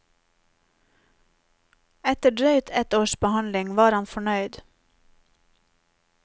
Etter drøyt ett års behandling var han fornøyd.